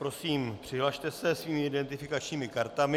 Prosím, přihlaste se svými identifikačními kartami.